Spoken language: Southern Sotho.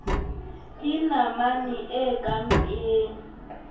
ke namane e ka mpeng